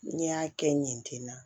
N y'a kɛ ɲɛ ten na